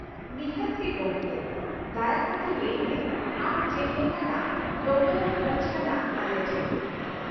ᱱᱤᱷᱟᱹᱛ ᱜᱮ ᱜᱚᱢᱠᱮ ! ᱫᱟᱭᱟ ᱠᱟᱛᱮ ᱞᱟᱹᱭ ᱢᱮ ᱟᱢ ᱪᱮᱫ ᱞᱮᱠᱟᱱᱟᱜ ᱰᱚᱜᱚᱨ ᱮᱢ ᱠᱷᱚᱡ ᱠᱟᱱᱟ ᱟᱞᱮ ᱴᱷᱮᱱ ?